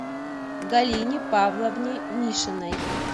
галине павловне мишиной